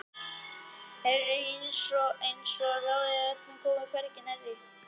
Rétt einsog ég ráði öllu um það sjálf en hinir krakkarnir komi þar hvergi nærri.